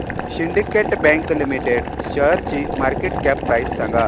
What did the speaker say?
Syndicate Bank Limited शेअरची market cap price सांगा